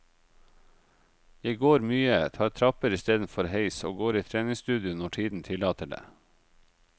Jeg går mye, tar trapper istedenfor heis og går i treningsstudio når tiden tillater det.